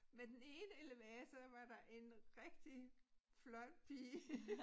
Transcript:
Med den ene elevator der var der en rigtig flot pige